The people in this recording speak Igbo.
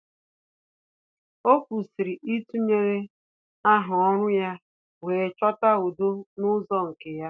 Ọ́ kwụ́sị̀rị̀ ítụ́nyéré áhá ọ́rụ́ ya wee chọ́tá udo n’ụ́zọ́ nke ya.